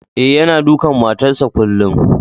Eh, yanna dukan matan sa kullum.